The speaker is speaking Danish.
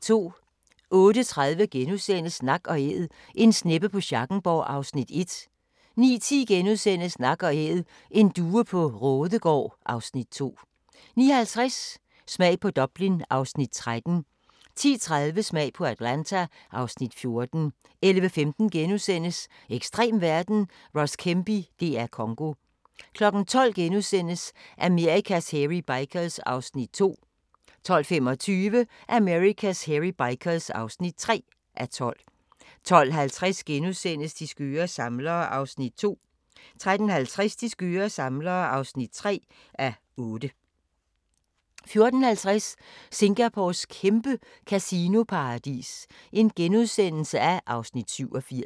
08:30: Nak & Æd - En sneppe på Schackenborg (Afs. 1)* 09:10: Nak & Æd: En due på Raadegaard (Afs. 2)* 09:50: Smag på Dublin (Afs. 13) 10:30: Smag på Atlanta (Afs. 14) 11:15: Ekstrem verden – Ross Kemp i DR Congo * 12:00: Amerikas Hairy Bikers (2:12)* 12:25: Amerikas Hairy Bikers (3:12) 12:50: De skøre samlere (2:8)* 13:50: De skøre samlere (3:8) 14:50: Singapores kæmpe kasinoparadis (Afs. 87)*